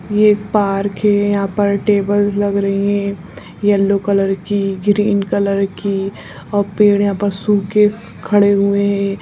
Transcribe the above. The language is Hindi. ये एक पार्क है यहाँ पर टेबल्स लग रही हैं येलो कलर की ग्रीन कलर की और पेड़ यहाँ पर सूखे खड़े हुए है।